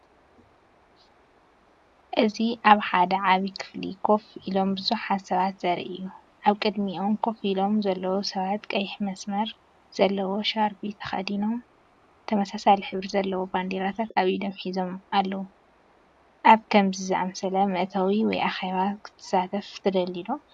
እዚ ኣብ ሓደ ዓቢይ ክፍሊ ኮፍ ኢሎም ብዙሓት ሰባት ዘርኢ እዩ። ኣብ ቅድሚኦም ኮፍ ኢሎም ዘለዉ ሰባት ቀይሕ መስመር ዘለዎ ሻርቢ ተኸዲኖም፡ተመሳሳሊ ሕብሪ ዘለወን ባንዴራታት ኣብ ኢዶም ሒዞም ኣለዉ። ኣብ ከምዚ ዝኣመሰለ መእተዊ ወይ ኣኼባ ክትሳተፍ ትደሊዶ?